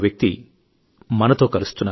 ధన్యవాదాలు సోదరా ఎన్నెన్నో కృతజ్ఞతలు